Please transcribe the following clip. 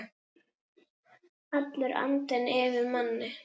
Allur andinn yfir manni.